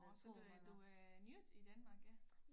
Nåh så du er du er nyt i Danmark ja